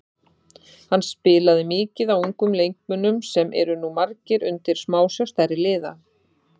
Hann spilaði mikið á ungum leikmönnum sem eru nú margir undir smásjá stærri liða.